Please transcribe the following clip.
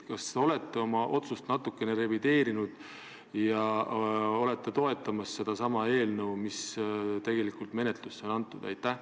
Kas te olete oma otsust natukene revideerinud ja toetate seda eelnõu, mis on menetlusse antud?